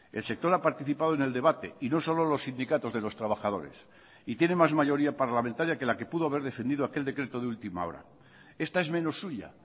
el sector ha participado en el debate y no solo los sindicatos de los trabajadores y tiene más mayoría parlamentaria que la que pudo haber defendido aquel decreto de última hora esta es menos suya